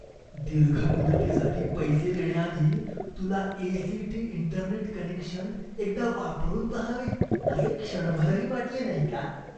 दीर्घ मुदतीसाठी पैसे देण्याआधी तुला A. C. T. Internet connection एकदा वापरून पहावे असे क्षणभरही वाटले नाही का?